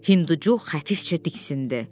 Hinduçu xəfifcə diksindi.